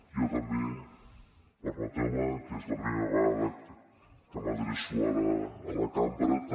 jo permeteu me que és la primera vegada que m’adreço ara a la cambra també